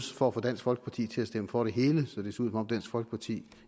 for at få dansk folkeparti til at stemme for det hele så det som om dansk folkeparti